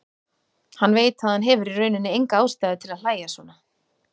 Hann veit að hann hefur í rauninni enga ástæðu til að hlæja svona.